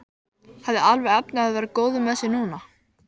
Hafði alveg efni á að vera góður með sig núna.